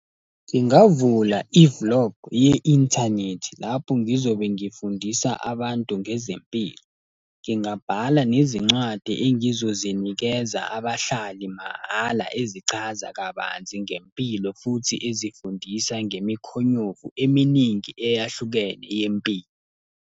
Ngingavula i-vlog ye-inthanethi lapho ngizobe ngifundisa abantu ngezempilo. Ngingabhala nezincwadi engizozinikeza abahlali mahhala ezichaza kabanzi ngempilo futhi ezifundisa ngemikhonyovu eminingi eyahlukene yempilo.